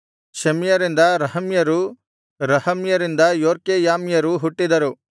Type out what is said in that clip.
ಶೆಮ್ಯರಿಂದ ರಹಮ್ಯರು ರಹಮ್ಯರಿಂದ ಯೊರ್ಕೆಯಾಮ್ಯರು ಹುಟ್ಟಿದರು